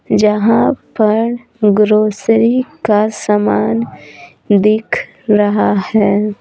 जहां पर ग्रोसरी का सामान दिख रहा है।